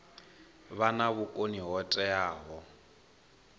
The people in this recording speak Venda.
vha na vhukoni ho teaho